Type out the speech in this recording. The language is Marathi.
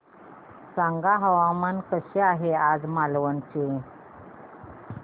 सांगा हवामान कसे आहे आज मालवण चे